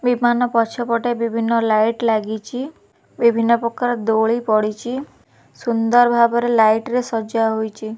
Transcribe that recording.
ବିମାନ ପଛପେଟେ ବିଭିନ୍ନ ଲାଇଟ୍ ଲାଗିଚି ବିଭିନ୍ନ ପ୍ରକାର ଦୋଳି ପଡିଚି ସୁନ୍ଦର୍ ଭାବରେ ଲାଇଟ୍ ରେ ସଜା ହୋଇଚି।